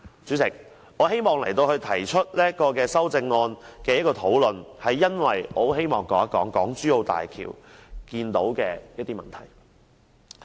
主席，我提出此修正案，是因為我希望說說港珠澳大橋的一些問題。